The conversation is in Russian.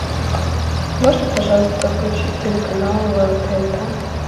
можно пожалуйста включить телеканал тнт